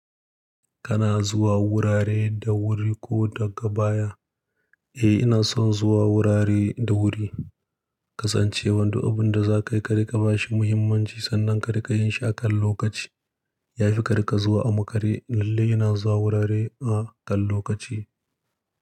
Kana zuwa wurare da wuri ko daga baya? Eh, ina son zuwa wurare da wuri. Kasancewan duk abin da za ka yi, ka rika ba shi muhimmanci sannan ka rika yin shi akan lokaci. Yahi ka rika zuwa a makare. Lalle ina zuwa wurare a kan lokaci.